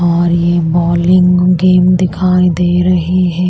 और ये bowling game दिखाई दे रही है।